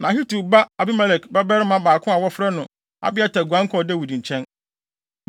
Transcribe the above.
Na Ahitub ba Ahimelek babarima baako a wɔfrɛ no Abiatar guan kɔɔ Dawid nkyɛn.